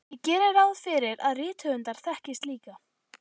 Ég geri ráð fyrir að rithöfundar þekkist líka.